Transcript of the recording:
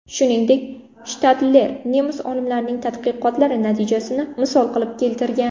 Shuningdek, Shtadler nemis olimlarining tadqiqotlari natijasini misol qilib keltirgan.